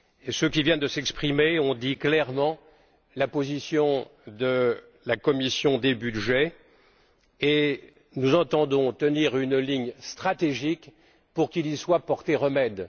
Ceux qui viennent de s'exprimer ont indiqué clairement quelle était la position de la commission des budgets et nous entendons tenir une ligne stratégique pour qu'il y soit porté remède.